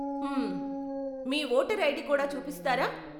హమ్మ్, మీ voter ID కూడా చూపిస్తారా?